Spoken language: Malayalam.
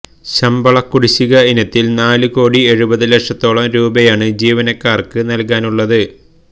ശമ്പള കുടിശിക ഇനത്തിൽ നാല് കോടി എഴുപതു ലക്ഷത്തോളം രൂപയാണ് ജീവനക്കാർക്ക് നൽകാനുള്ളത്